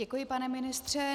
Děkuji, pane ministře.